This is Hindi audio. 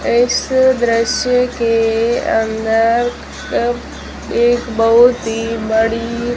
इस दृश्य के अंदर एक बहुत ही बड़ी--